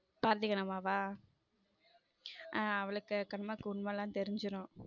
பாரதிகண்ணம்மாவா ஹம் அவளுக்கு கண்ணம்மாக்கு உண்மை எல்லாம் தெரிஞ்சிரும்.